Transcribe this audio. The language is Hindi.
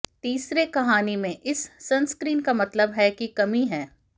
तीसरे कहानी में इस सनस्क्रीन का मतलब है की कमी है